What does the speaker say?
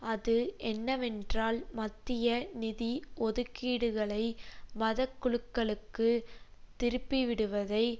அது என்னவென்றால் மத்திய நிதி ஒதுக்கீடுகளை மதக்குழுக்களுக்கு திருப்பிவிடுவதை